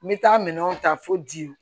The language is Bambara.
N bɛ taa minɛnw ta fo ji